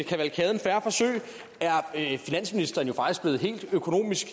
kavalkaden fair forsøg er finansministeren jo faktisk blevet helt økonomisk